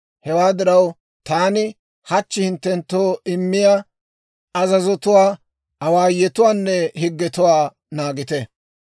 Hewaa diraw, taani hachchi hinttenttoo immiyaa azazotuwaa, awaayotuwaanne higgetuwaa naagite.